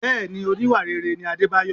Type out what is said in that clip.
Bẹẹni, oníwà rere ni Adebayo.